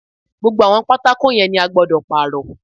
Gbogbo àwọn pátákó yẹn ni a gbọ́dọ̀ Pààrọ̀